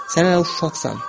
Sən hələ uşaqsan.